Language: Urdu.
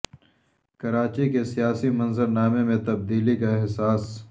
کراچی کے سیاسی منظر نامے میں تبدیلی کا احساس